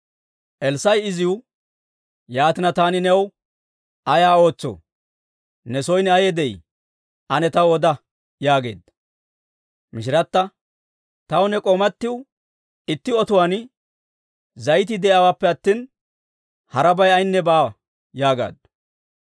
Elssaa'i iziw, «Yaatina taani new ay ootsoo? Ne son ayay de'ii? Ane taw oda» yaageedda. Mishirata, «Taw ne k'oomatiw itti otuwaan zayitii de'iyaawaappe attina, harabay ayaynne baawa» yaagaaddu.